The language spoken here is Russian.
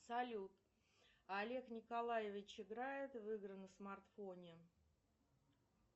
салют олег николаевич играет в игры на смартфоне